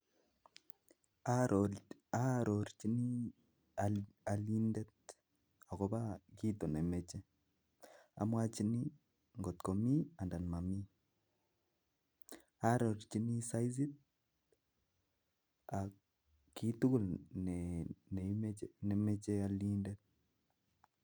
Aarorichin alindet akobo kit nemoche, amwachin ngot mii anan momii aarorchin saizit akitugul nemocha alindet.